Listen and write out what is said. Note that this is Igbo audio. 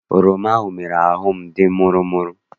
Oroma ahụ mere ahụ m dị mụrụ mụrụ.